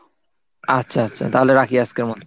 আচ্ছা আচ্ছা তাহলে রাখি আজকের মতো।